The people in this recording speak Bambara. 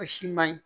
O si man ɲi